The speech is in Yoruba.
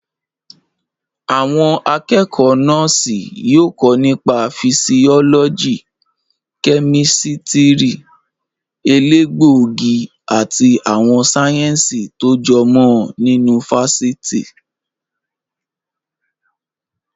Àwọn akẹ́kọ̀ọ́ Nọ́ọ̀sì yóò kọ́ nípa fisiọ́lọ́jì, kẹ́mísítírì, elégbòogi àti àwọn sáyẹ̀nsì tó jọ mọ́ ọn nínú fáfitì.